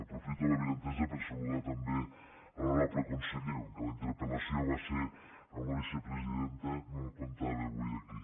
aprofito l’avinentesa per saludar també l’honorable conseller com que la interpel·lació va ser amb la vicepresidenta no el comptava avui aquí